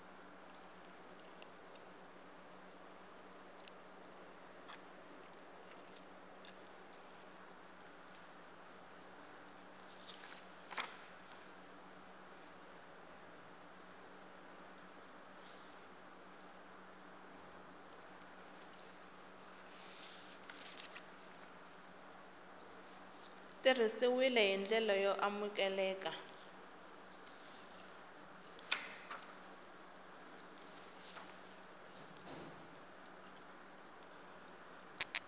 tirhisiwile hi ndlela yo amukeleka